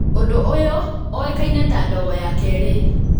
Ũndũ ũyũ ũĩkaine ta ndogo ya kerĩ.